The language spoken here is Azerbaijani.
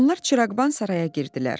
Onlar çıraqban saraya girdilər.